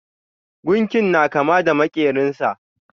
Gunkin na kama da makerin sa.